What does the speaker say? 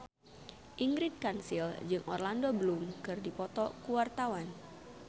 Ingrid Kansil jeung Orlando Bloom keur dipoto ku wartawan